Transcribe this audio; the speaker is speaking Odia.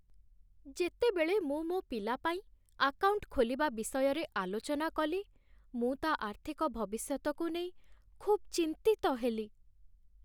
ଯେତେବେଳେ ମୁଁ ମୋ ପିଲା ପାଇଁ ଆକାଉଣ୍ଟ ଖୋଲିବା ବିଷୟରେ ଆଲୋଚନା କଲି, ମୁଁ ତା' ଆର୍ଥିକ ଭବିଷ୍ୟତକୁ ନେଇ ଖୁବ୍ ଚିନ୍ତିତ ହେଲି।